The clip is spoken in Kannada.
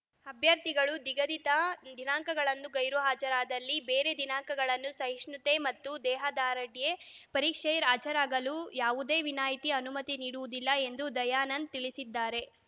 ಅಭ್ಯರ್ಥಿಗಳು ನಿಗದಿತ ದಿನಾಂಕಗಳಂದು ಗೈರು ಹಾಜರಾದಲ್ಲಿ ಬೇರೆ ದಿನಾಂಕಗಳಂದು ಸಹಿಷ್ಣುತೆ ಮತ್ತು ದೇಹದಾರ್ಢ್ಯತೆ ಪರೀಕ್ಷೆಗೆ ಹಾಜರಾಗಲು ಯಾವುದೇ ವಿನಾಯಿತಿ ಅನುಮತಿ ನೀಡುವುದಿಲ್ಲ ಎಂದು ದಯಾನಂದ್‌ ತಿಳಿಸಿದ್ದಾರೆ